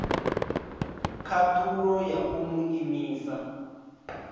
khathulo ya u mu imisa